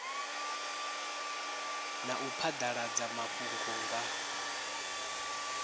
na u phadaladza mafhungo nga